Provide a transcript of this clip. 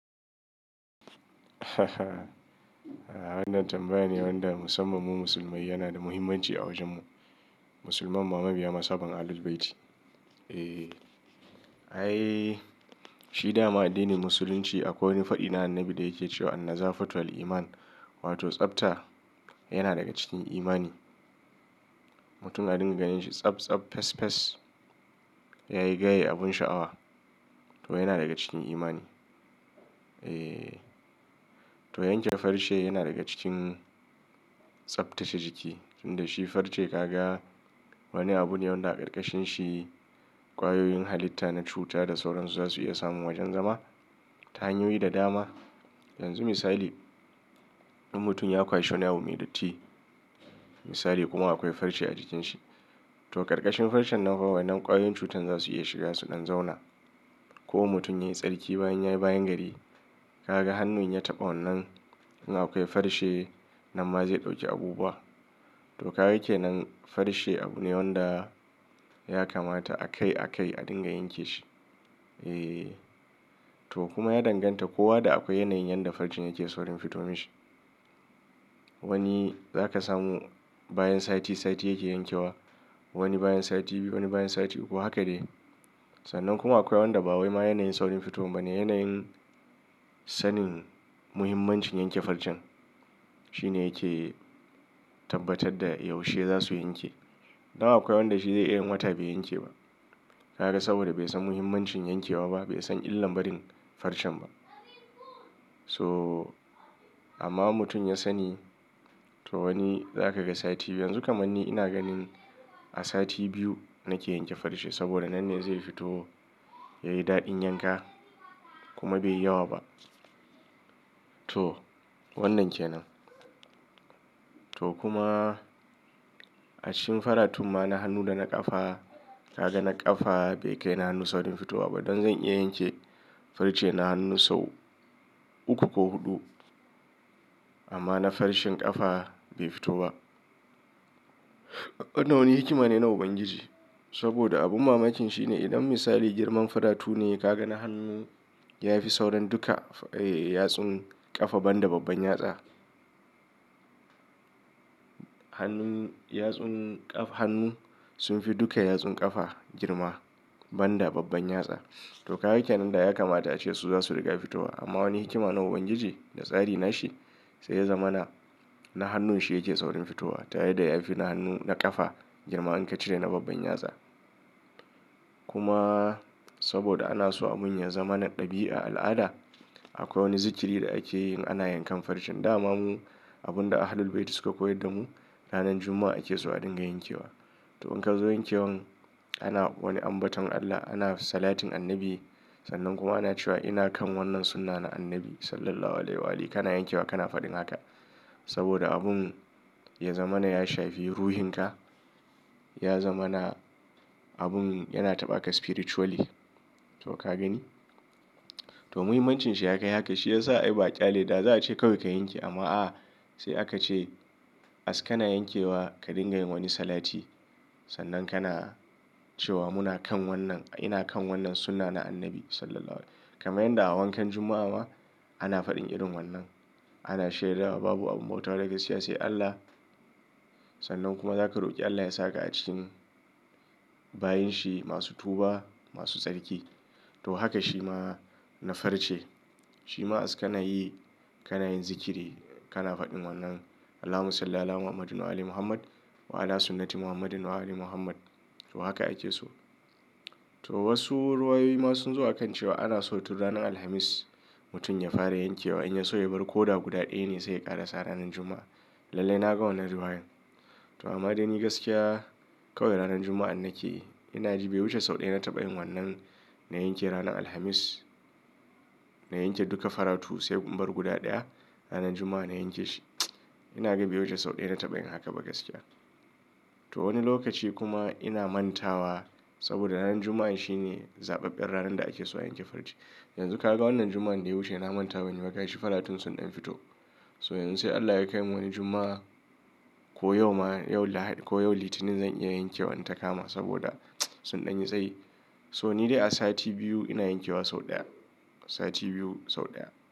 Wannan tambayar ne wanda musamman mu musulmai yana da muhimmanci a wajen mu. Musulman ma mabiya mazhaban Ahlul Bayti. Eeh. Ai shi dama addinin Musulunci akwai wani fadi na annabi da yake cewa "an-nazafatu al-iman" wato tsafta yana daga cikin imani. Mutum a dinga ganin shi tsabtsab, fesfes, yayi gaye abun sha'awa to yana daga cikin imani. Eeh. To yanke farce yana daga cikin tsaftace jiki. Inda shi farce kaga wani abu ne wanda a karkashin shi kwayoyin halitta na cuta da sauran su zasu iya samun wajan zama ta hanyoyi da dama. Yanzu misali in mutum ya kwashe wani abu mai datti, misali kuma akwai farce a jikin shi to karkashin farcen nan kawai nan kwayoyin cutan zasu iya shiga su dan zauna. Ko mutum yayi tsarki bayan yayi bayan gari, ka ga hannun ya taɓa wannan in akwai farce nan ma zai ɗauki abubuwa. To ka gaka kenan farce abu ne wanda ya kamata a kai a kai a dinga yanke shi. Eeh. To kuma ya danganta kowa da akwai yanayin yanda farcen yake saurin fito mishi. Wani za ka samu bayan sati sati yake yankewa. Wani bayan sati biyu, wani bayan sati uku. Haka dai. Sannan kuma akwai wanda ba wai ma yanayin saurin fitowan ba ne. Yanayin sanin muhimmancin yanke farcen shine yake tabbatar da yaushe zasu yanke. Don akwai wanda shi zai iyan yin wata bai yanke ba. Ka ga saboda bai san muhimmancin yankewa ba, bai san illan barin farcen ba. So amma mutum ya sani to wani za ka ga sati biyu. Yanzu kamar ni ina ganin a sati biyu nake yanke farce saboda nan ne zai fito yayi daɗin yanka kuma bai yi yawa ba. To wannan ke nan. To kuma a cikin faratun ma na hannu da na ƙafa ka ga na ƙafa bai kai na hannu saurin fitowa ba. Dan zan iya yanke farce na hannu sau uku ko huɗu amma na farcen ƙafa bai fito ba. Wannan wani hikima ne na ubangiji saboda abun mamakin shi ne idan misali girman faratu ne ka ga na hannun ya fi sauran duka, eeh, yatsun ƙafa banda babban yatsa. Hannun yatsun ƙaf-- hannun sun fi duka yatsun ƙafa girma banda babban yatsa. To kaga kenan da ya kamata ace su zasu riƙa fitowa amma wani hikima na ubangiji da tsari na shi sai ya zama na, na hannun shi yake saurin fitowa tare da ya fi na hannun na kafa girma in ka cire na babban yatsa. Kuma saboda ana so abin ya zama na ɗabi'a al'ada akwai wani zikiri da ake yin ana yankan farcen. Da mamu abun da Ahlul Bayti suka koyar da mu ranar Juma'a ake so a dinga yankewa. To in ka zo yankewan ana wani ambaton Allah, ana salatin annabi sannan kuma ana cewa ina kan wannan sunnah na annabi Sallallahu alaihi wa ali. Kana yankewa kana faɗin haka saboda abun ya zama na ya shafi ruhin ka. Ya zama na abun yana taɓa ka spiritually. To ka gani? To muhimmancin shi ya kai haka. Shi ya sa ai ba ƙyale da za a ce kawai ka yanke amma a'a sai aka ce as kana yankewa ka dinga yin wani salati sannan kana cewa muna kan wannan, ina kan wannan sunnah na annabi Sallallahu alaihi wa ali. Kamar yadda a wankan Juma'a ma ana faɗin irin wannan. Ana shaidawa babu abu bautawa daga siyasa Allah sannan kuma za ka roƙi Allah ya sa ka a cikin bayin shi masu tuba masu tsarki. To haka shi ma na farce. Shi ma as kana yi kana yin zikiri kana faɗin wannan "Allahumma salla 'ala Muhammadin wa ali Muhammad wa 'ala sunnati Muhammadin wa ali Muhammad." To haka ake so. To wasu ruwayoyi ma sun zo a kan cewa ana so tun ranar Alhamis mutum ya fara yankewa in ya so ya bar koɗa guda ɗaya ne sai ya ƙarasa ranar Juma'a. Lallai na ga wannan ruwayan. To amma dai ni gaskiya kawai ranar Juma'a an nake. Ina ji bai wuce sau ɗaya na taɓa yin wannan na yanke ranar Alhamis. Na yanke duka faratu sai in bar guda ɗaya ranar Juma'a na yanke shi. Ina ga bai wuce sau ɗaya na taɓa yin haka ba gaskiya. To wani lokaci kuma ina mantawa saboda ranar Juma'a shi ne zaɓaɓɓen ranar da ake so a yanke farce. Yanzu ka ga wannan Juma'an da ya wuce ina manta banyi ba gashi faratun sun ɗan fito. So yanzu sai Allah ya kai mu wani Juma'a ko yau ma, yau Lahadi ko yau Litinin zan iya yankewa in ta kama saboda sun ɗan yi tsayi. So ni dai a sati biyu ina yankewa sau ɗaya. Sati biyu sau ɗaya.